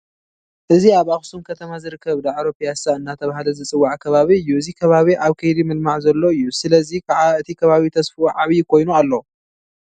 እዚ ኣብ ኣኽሱም ከተማ ዝርከብ ዳዕሮ ፒያሳ እናተባህለ ዝፅዋዕ ከባቢ እዩ፡፡ እዚ ከባቢ ኣብ ከይዲ ምልማዕ ዘሎ እዩ፡፡ ስለዚ ከዓ እቲ ከባቢ ተስፍኡ ዓብዪ ኮይኑ ኣሎ፡፡